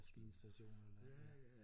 Maskinstationer eller